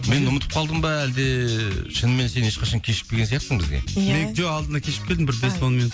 мен ұмытып қалдым ба әлде шынымен сен ешқашан кешікпеген сияқтысың бізге иә жоқ алдында кешігіп келдім бір бес он минут